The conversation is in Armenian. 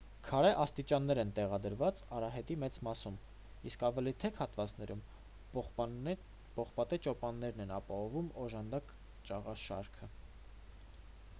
քարե աստիճաններ են տեղադրված արահետի մեծ մասում իսկ ավելի թեք հատվածներում պողպատե ճոպաններն են ապահովում օժանդակ ճաղաշարքը